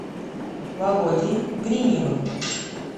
володей гриневым